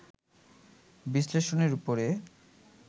বিশ্লেষণের উপরে